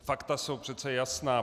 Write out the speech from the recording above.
Fakta jsou přece jasná.